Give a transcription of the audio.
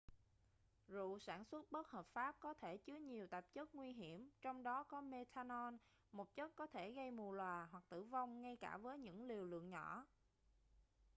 rượu sản xuất bất hợp pháp có thể chứa nhiều tạp chất nguy hiểm trong đó có methanol một chất có thể gây mù lòa hoặc tử vong ngay cả với những liều lượng nhỏ